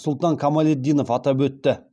сұлтан қамалетдинов атап өтті